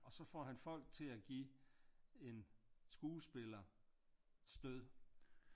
Og så får han folk til at give en skuespiller stød